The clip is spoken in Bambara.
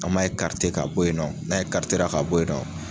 An m'a ekarite ka bɔ yen nɔn n'a ekarite ka bɔ yen nɔn